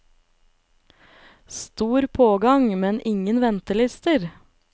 Stor pågang, men ingen ventelister.